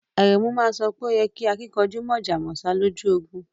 Aremu ma so pe o yí kẹ́ àkìnkanjú mọ̀jọ̀ mọ̀sá lọ́jọ́ ogún